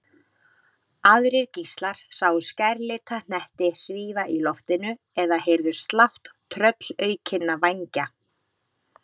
Aðrir gíslar sáu skærlita hnetti svífa í loftinu eða heyrðu slátt tröllaukinna vængja.